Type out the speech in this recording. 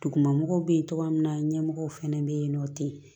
Duguma mɔgɔw bɛ yen togoya min na ɲɛmɔgɔw fana bɛ yen nɔ ten